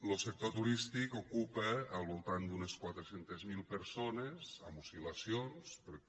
lo sector turístic ocupa al voltant d’unes quatre cents miler persones amb oscil·lacions perquè